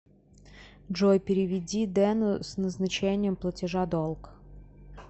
джой переведи дену с назначением платежа долг